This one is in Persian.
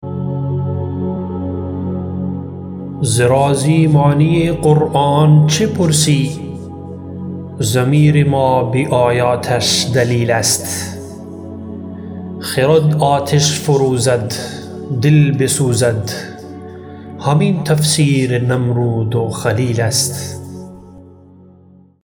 ز رازی معنی قرآن چه پرسی ضمیر ما به آیاتش دلیل است خرد آتش فروزد دل بسوزد همین تفسیر نمرود و خلیل است